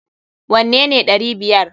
Wanne ne ɗari biyar!